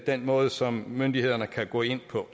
den måde som myndighederne kan gå ind på